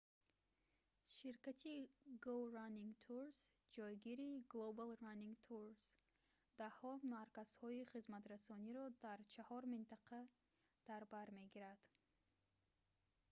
ширкати go running tours ҷогири global running tours даҳҳо марказҳои хизматрасониро дар чаҳор минтақа дар бар мегирад